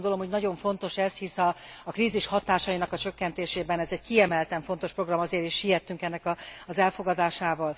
Azt gondolom, hogy nagyon fontos ez, hiszen a krízis hatásainak a csökkentésében ez egy kiemelten fontos program, ezért is siettünk ennek az elfogadásával.